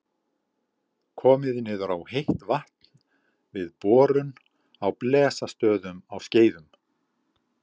Komið niður á heitt vatn við borun á Blesastöðum á Skeiðum.